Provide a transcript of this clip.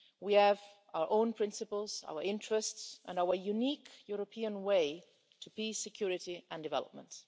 We have our own principles, our interests and our unique European way to peace, security and development.